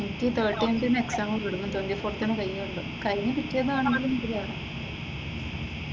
എനിക്ക് ഈ തേർട്ടിയതിന് എക്സാം തുടങ്ങും ട്വന്റി ഫോർത്തിന് കഴിയുകയുള്ളൂ, കഴിഞ്ഞു കിട്ടിയതാണെങ്കിലും ഇതില.